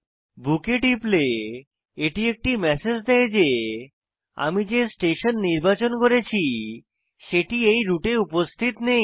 বুক এ টিপলে এটি একটি ম্যাসেজ দেয় যে আমি যে স্টেশন নির্বাচন করেছি সেটি এই রুটে উপস্থিত নেই